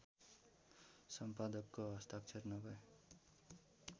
सम्पादकको हस्ताक्षर नभए